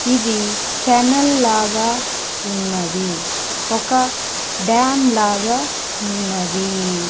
ఇది కెనల్ లాగా ఉన్నది ఒక డామ్ లాగా ఉన్నది.